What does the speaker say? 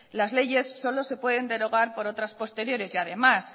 las leyes solo se pueden derogar por otras posteriores y además